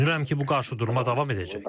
Düşünürəm ki, bu qarşıdurma davam edəcək.